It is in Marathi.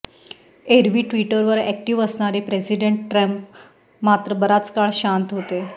एरवी ट्विटरवर एक्टिव्ह असणारे प्रेसिडेंट ट्रम्प मात्र बराच काळ शांत होते